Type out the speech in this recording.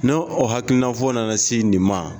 Ni o hakilinafɔ nana se nin ma